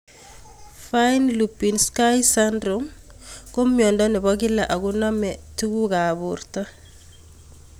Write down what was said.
Fine Lubinsky syndrome (FLS) ko miondo nepo kila akonamei tuguk ab porto